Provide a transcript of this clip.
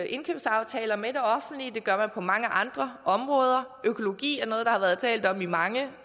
indkøbsaftaler med det offentlige det gør man på mange andre områder økologi er noget der har været talt om i mange